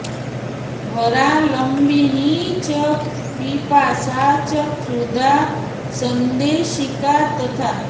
वरा लम्बिनी च पिपासा च क्षुधा सन्देशिका तथा